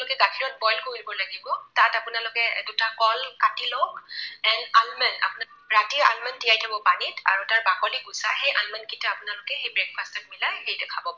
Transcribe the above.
পিছত boil কৰিব লাগিব। তাত আপোনালোকে দুটা কল কাটি লওক and almond আপোনালোকে ৰাতি almond তিয়াই থব পানীত আৰু তাৰ বাকলি গুচাই সেই almond কেইটা আপোনালোকে সেই breakfast ত মিলাই খাব পাৰে।